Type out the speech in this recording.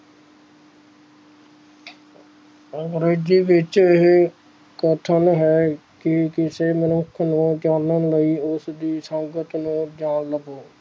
ਅੰਗਰੇਜ਼ੀ ਵਿਚ ਇਹ ਕਥਨ ਹੈ ਕੀ ਕਿਸੇ ਮਨੁੱਖ ਨੂੰ ਜਾਨਣ ਲਈ ਉਸਦੀ ਸੰਗਤ ਨੂੰ ਜਾਣ ਲਾਓ